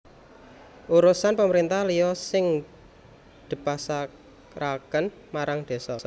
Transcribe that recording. Urusan pemerintahan liya sing dpasrahaké marang désa